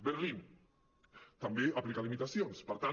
berlín també aplica limitacions per tant